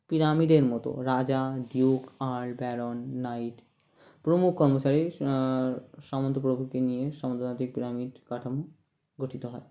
পিরামিডের মতো রাজা ডিউক আর ব্যারন নাইট প্রমুখ কর্মচারী আআ সামন্ত প্রকৃতি নিয়ে সামন্ততান্ত্রিক পিরামিড কাঠামো গঠিত হয়